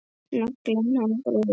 Naglinn hann bróðir minn.